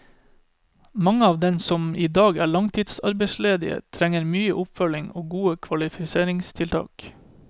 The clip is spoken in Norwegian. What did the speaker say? Mange av dem som i dag er langtids arbeidsledige, trenger mye oppfølging og gode kvalifiseringstiltak.